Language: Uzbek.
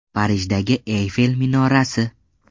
Parijdagi Eyfel minorasi.